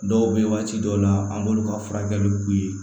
Dɔw bɛ yen waati dɔw la an b'olu ka furakɛli k'u ye